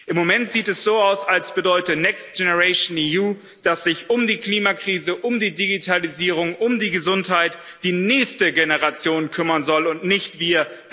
Im Moment sieht es so aus, als bedeute Next Generation EU dass sich um die Klimakrise, um die Digitalisierung, um die Gesundheit die nächste Generation kümmern soll und nicht wir.